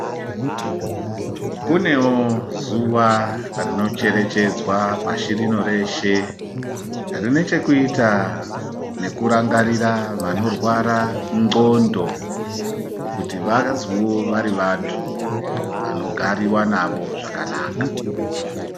Kunewo zuva rinocherechedzwa pashi rino reshe rine chekuita nekurangarira vanorwara ndxondo, kuti vazoo vari vantu vanogariwa navo zvakanaka.